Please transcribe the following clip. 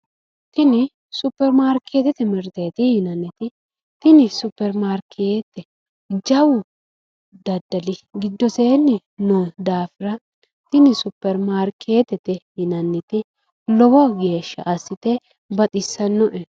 Tini supperi maarkeettete mirteeti yinanniti tini supperi maarkeette jawu daddali giddoseenni noo daafira tini supperi maarkeettete yinanniti lowo geesha assite baxissanno'e